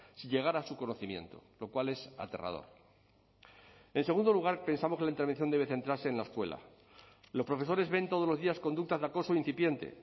si llegara a su conocimiento lo cual es aterrador en segundo lugar pensamos que la intervención debe centrarse en la escuela los profesores ven todos los días conductas de acoso incipiente